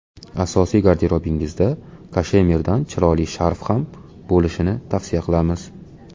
Asosiy garderobingizda kashemirdan chiroyli sharf ham bo‘lishini tavsiya qilamiz.